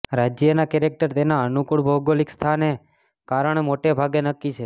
રાજ્યના કેરેક્ટર તેના અનુકૂળ ભૌગોલિક સ્થાન કારણે મોટે ભાગે નક્કી છે